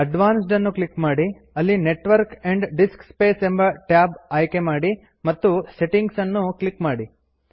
advanced ಅನ್ನು click ಮಾಡಿ ಅಲ್ಲಿ ನೆಟ್ವರ್ಕ್ ಆ್ಯಂಪ್ ಡಿಸ್ಕ್ ಸ್ಪೇಸ್ ಎಂಬ ಟ್ಯಾಬ್ ಆಯ್ಕೆಮಾಡಿ ಮತ್ತು ಸೆಟ್ಟಿಂಗ್ಸ್ ಅನ್ನು ಕ್ಲಿಕ್ ಮಾಡಿ